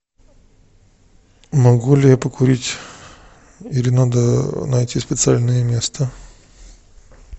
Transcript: могу ли я покурить или надо найти специальное место